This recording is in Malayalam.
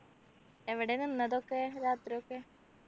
എവിടെയാ നിന്നതൊക്കെ രാത്രിയൊക്കെ